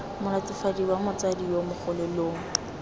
molatofadiwa motsadi yo mongwe lo